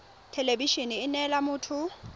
thelebi ene e neela motho